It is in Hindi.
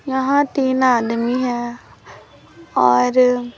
यहां तीन आदमी हैं और--